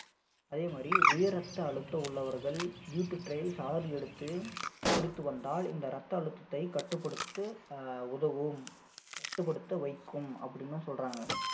அதே மாதிரி உயர் ரத்த அழுத்தம் உள்ளவர்கள் beetroot ஐ சாறு எடுத்து குடித்து வந்தால் இந்த ரத்த அழுத்தத்தை கட்டுப்படுத்த அஹ் உதவும் கட்டுப்படுத்த வைக்கும் அப்படின்னும் சொல்றாங்க